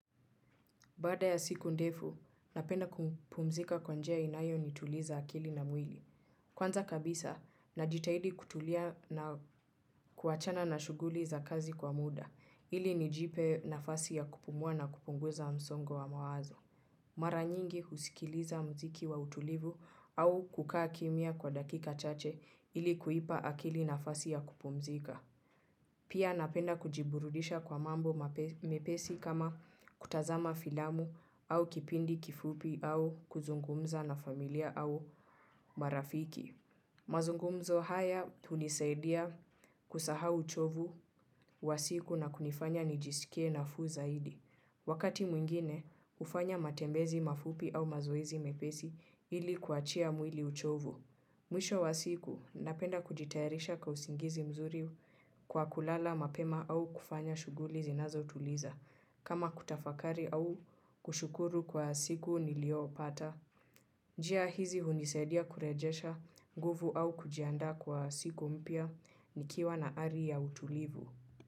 Bada ya siku ndefu, napenda kupumzika kwa njia inayonituliza akili na mwili. Kwanza kabisa, najitahidi kutulia na kuachana na shuguli za kazi kwa muda, ili nijipe nafasi ya kupumua na kupunguza msongo wa mawazo. Mara nyingi husikiliza mziki wa utulivu au kukaa kimya kwa dakika chache ili kuipa akili na fasi ya kupumzika. Pia napenda kujiburudisha kwa mambo mepesi kama kuatazama filamu au kipindi kifupi au kuzungumza na familia au marafiki. Mazungumzo haya hunisaidia kusahau uchovu wa siku na kunifanya nijisikie nafu zaidi. Wakati mwingine, hufanya matembezi mafupi au mazoizi mepesi ili kuachia mwili uchovu. Mwisho wa siku, napenda kujitayarisha kwa usingizi mzuri kwa kulala mapema au kufanya shughuli zinazotuliza kama kutafakari au kushukuru kwa siku niliopata. Njia hizi hunisaidia kurejesha nguvu au kujiandaa kwa siku mpya nikiwa na ari ya utulivu.